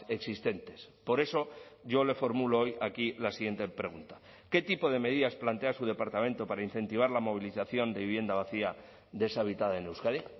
existentes por eso yo le formulo hoy aquí la siguiente pregunta qué tipo de medidas plantea su departamento para incentivar la movilización de vivienda vacía deshabitada en euskadi